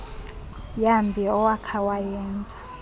yambi awakha wayenza